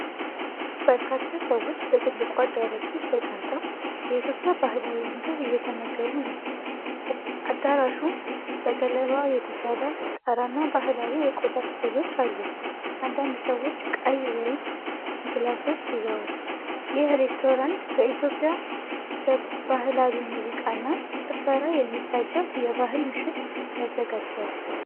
በርካታ ሰዎች በትልቁ አዳራሽ ውስጥ ተቀምጠው የኢትዮጵያን ባህላዊ ምግብ እየተመገቡ ነው። አዳራሹ በገለባ የተሰራ ጣራና ባህላዊ የቆዳ ስዕሎች አሉት። አንዳንድ ሰዎች ቀይ ወይን ግላሶች ይዘዋል። ይህ ሬስቶራንት በኢትዮጵያ ባህላዊ ሙዚቃና ጭፈራ የሚታጀብ የባህል ምሽት ያዘጋጃል?